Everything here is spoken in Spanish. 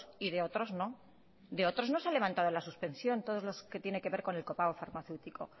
y de otros no de otros no se han levantado la suspensión todos los que tiene que ver con el copago farmacéutico